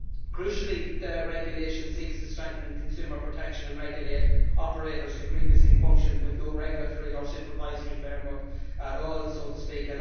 Crucially, the regulation seeks to strengthen consumer protection and regulate operators who previously functioned with no regulatory or supervisory framework at all, so to speak.